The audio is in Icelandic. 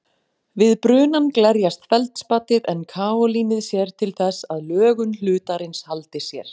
Við brunann glerjast feldspatið en kaólínið sér til þess að lögun hlutarins haldi sér.